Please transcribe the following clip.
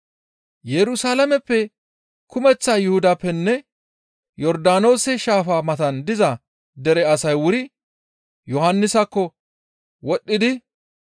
Yerusalaameppe, kumeththa Yuhudappenne Yordaanoose shaafa matan diza dere asay wuri Yohannisakko wodhdhidi,